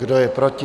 Kdo je proti?